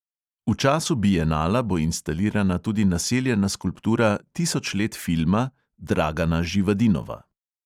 V času bienala bo instalirana tudi naseljena skulptura tisoč let filma dragana živadinova.